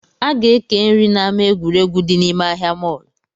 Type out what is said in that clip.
A ga-eke nri na ama egwuregwu dị nime ahịa mall